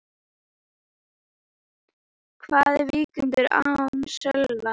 Hvað er Víkingur án Sölva?